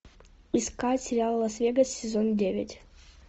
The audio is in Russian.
искать сериал лас вегас сезон девять